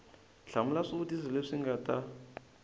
hlamula swivutiso leswi nga ta